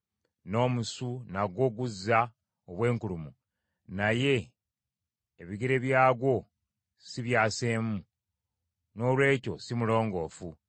N’omusu nagwo guzza obwenkulumu, naye ebigere byagwo si byaseemu; noolwekyo si mulongoofu.